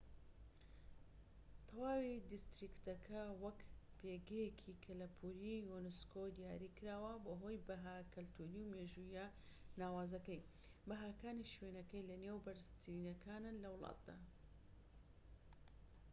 تەواوی دیستریکتەکە وەک پێگەیەکی کەلەپوری یونسكۆ دیاریکراوە بەهۆی بەها کەلتوری و مێژووییە ناوازەکەی و بەهاکانی شوێنەکەی لە نێو بەرزترینەکانن لە وڵاتدا